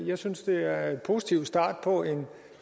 jeg synes det er en positiv start på en